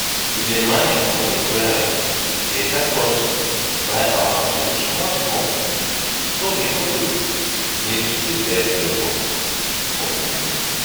to dey manage money well dey help us buy our tools small small so we no go need to dey beg neighbor for money